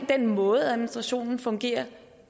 den måde administrationen fungerer